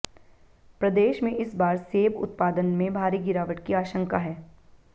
प्रदेश में इस बार सेब उत्पादन में भारी गिरावट की आशंका है